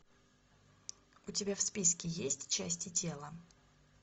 у тебя в списке есть части тела